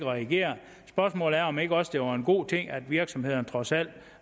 reageret spørgsmålet er om det ikke også var en god ting at virksomhederne trods alt